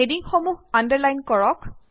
হেডিংসমূহ underline কৰক